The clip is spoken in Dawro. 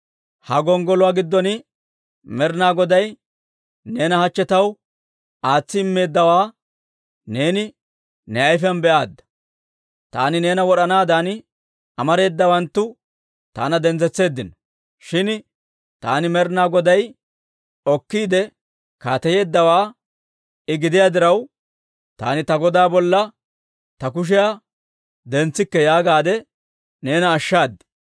Ha gonggoluwaa giddon Med'inaa Goday neena hachche taw aatsi immeeddawaa neeni ne ayfiyaan be'aadda; taani neena wod'anaadan amareedawanttu taana dentsetseeddino; shin taani, Med'inaa Goday okkiide kaateyeeddawaa I gidiyaa diraw, taani ta goda bolla ta kushiyaa dentsikke yaagaadde neena ashshaad.